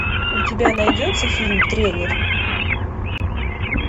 у тебя найдется фильм тренер